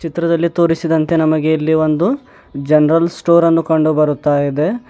ಚಿತ್ರದಲ್ಲಿ ತೋರಿಸಿದಂತೆ ನಮಗೆ ಇಲ್ಲಿ ಒಂದು ಜೆನರಲ್ ಸ್ಟೋರನ್ನು ಕಂಡು ಬರುತ್ತಾ ಇದೆ.